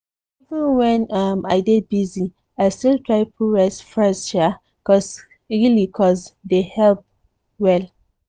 even when um i dey busy i still try put rest firste um really cos dey help um well.